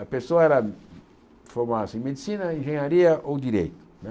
A pessoa era formarva-se em medicina, engenharia ou direito né.